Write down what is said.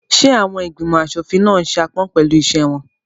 Ṣé àwọn ìgbìmọ̀ aṣòfin náà n ṣe aápọn pẹ̀lú iṣẹ́ wọn?